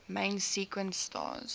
main sequence stars